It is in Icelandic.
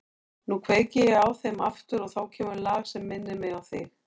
Nú kveiki ég á þeim aftur og þá kemur lag sem minnir mig á þig.